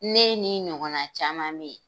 Ne n'i ɲɔgɔnna caman bɛ yen,